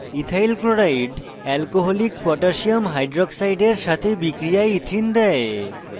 ethyl chloride alcoholic potassium হাইক্সাইডের সাথে বিক্রিয়ায় ethene দেয়